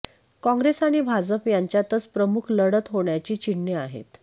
काँग्रेस आणि भाजप यांच्यातच प्रमुख लढत होण्याची चिन्हे आहेत